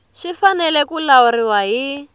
swi fanele ku lawuriwa hi